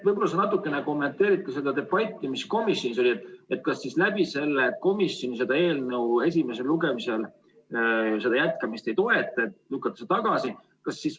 Võib-olla sa natuke kommenteerid seda debatti, mis komisjonis oli seoses sellega, et komisjon seda eelnõu esimesel lugemisel ei toeta ja see lükatakse tagasi.